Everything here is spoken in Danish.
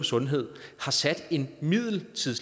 sundhed har sat en middellevetid